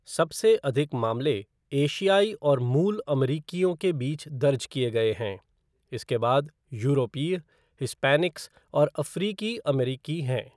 सबसे अधिक मामले एशियाई और मूल अमरीकियों के बीच दर्ज किए गए हैं, इसके बाद यूरोपीय, हिस्पैनिक्स और अफ़्रीकी अमेरिकी हैं।